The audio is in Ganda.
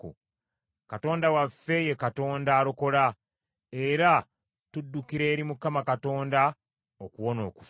Katonda waffe ye Katonda alokola; era tuddukira eri Mukama Katonda okuwona okufa.